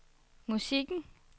musikken